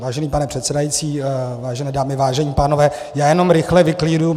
Vážený pane předsedající, vážené dámy, vážení pánové, já jenom rychle vyklíruju.